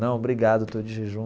Não, obrigado, eu estou de jejum.